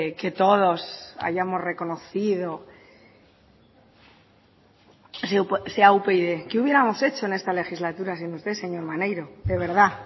que todos hayamos reconocido sea upyd qué hubiéramos hecho en esta legislatura sin usted señor maneiro de verdad